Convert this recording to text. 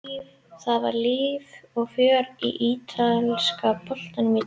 Það var líf og fjör í ítalska boltanum í dag.